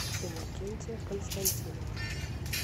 иннокентия константинова